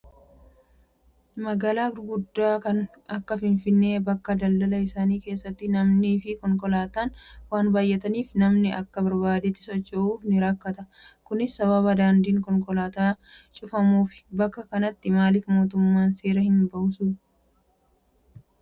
Magaalaa gurguddaa kan akka Finfinnee bakka daldalaa isaanii keessatti namnii fi konkolaataan waan baay'ataniif namni aka barbaadetti socho'uuf ni rakkata. Kunis sababa daandiin konkolaataan cufamuufi. Bakka akkanaatti maaliif mootummaan seera hin baasuu?